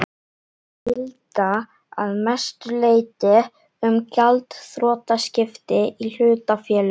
gilda að mestu leyti um gjaldþrotaskipti í hlutafélögum.